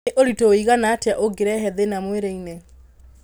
Nĩ ũritũ wũigana atĩa ungĩrehe thĩna mwĩrĩinĩ.